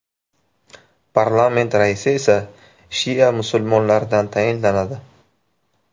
Parlament raisi esa shia musulmonlaridan tayinlanadi.